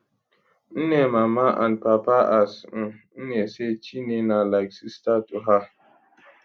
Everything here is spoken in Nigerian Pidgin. nne mama and papa as um nne say chinne na like sister to her